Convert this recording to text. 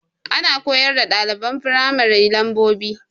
Ana koyar da ɗaliban firamari lambobi